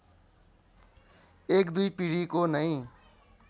एक दुई पिढीको नै